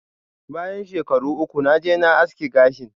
Bayan shekaru uku, naje ma aski gashin.